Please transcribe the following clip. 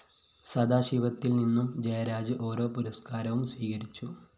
സദാശിവത്തില്‍ നിന്നും ജയരാജ് ഒരോ പുരസ്‌ക്കാരവും സ്വീകരിച്ചു